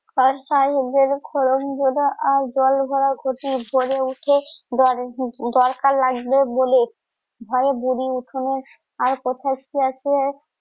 ক্ষরণ জোড়া আর জল ভরা ক্ষতি ভরে উঠে দরকার লাগবে বলে বুড়ি উঠনের